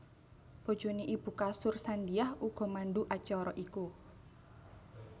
Bojoné ibu Kasur Sandiah uga mandhu acara iku